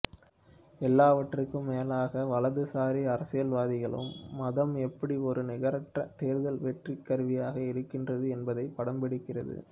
எல்லாவற்றிற்கும் மேலாக வலதுசாரி அரசியல்வாதிகளுக்கு மதம் எப்படி ஒரு நிகரற்ற தேர்தல் வெற்றி கருவியாக இருக்கின்றது என்பதையும் படம்பிடிக்கிறார்